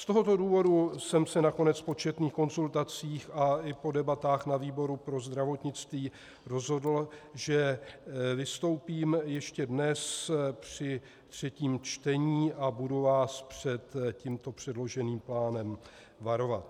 Z tohoto důvodu jsem se nakonec po četných konzultacích a i po debatách na výboru pro zdravotnictví rozhodl, že vystoupím ještě dnes při třetím čtení a budu vás před tímto předloženým plánem varovat.